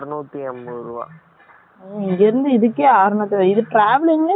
இங்க இருந்து இதுக்கெ அரனூத்தி அம்பது , அபொ travelling ல யெ பாதி இது பொய்ருது இல்ல யா நமக்கு